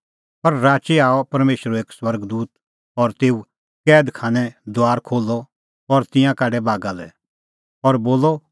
पर राची आअ परमेशरो एक स्वर्ग दूत और कैद खानेओ दूआर खोल्हअ और तिंयां काढै बागा लै और बोलअ